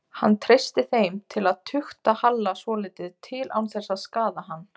Hann treysti þeim til að tukta Halla svolítið til án þess að skaða hann.